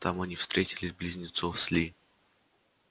там они встретили близнецов с ли